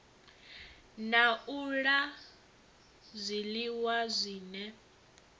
na u la zwiliwa zwine